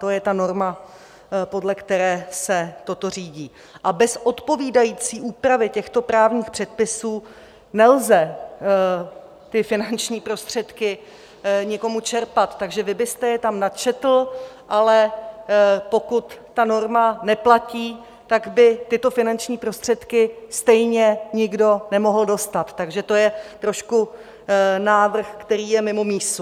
To je ta norma, podle které se toto řídí, a bez odpovídající úpravy těchto právních předpisů nelze ty finanční prostředky nikomu čerpat, takže vy byste je tam načetl, ale pokud ta norma neplatí, tak by tyto finanční prostředky stejně nikdo nemohl dostat, takže to je trošku návrh, který je mimo mísu.